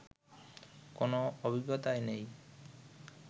কোনো অভিজ্ঞতাই নেই